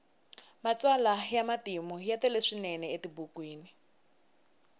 matsalwa ya matimu ya tele swinene etibukwini